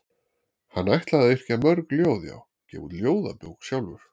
Hann ætlaði að yrkja mörg ljóð já, gefa út ljóðabók sjálfur.